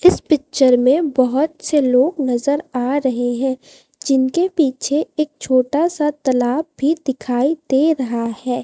इस पिक्चर में बहोत से लोग नजर आ रहे हैं जिनके पीछे एक छोटा सा तलाब भी दिखाई दे रहा है।